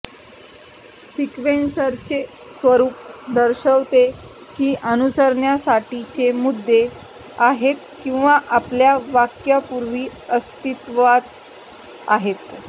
सिक्वेंसरचे स्वरूप दर्शवते की अनुसरण्यासाठीचे मुद्दे आहेत किंवा आपल्या वाक्यापूर्वी अस्तित्वात आहेत